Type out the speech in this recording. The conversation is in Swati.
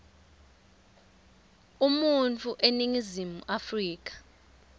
umuntfu eningizimu afrika